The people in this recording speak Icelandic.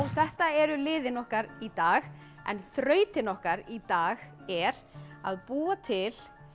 þetta eru liðin okkar í dag en þrautin okkar í dag er að búa til